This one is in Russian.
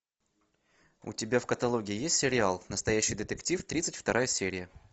у тебя в каталоге есть сериал настоящий детектив тридцать вторая серия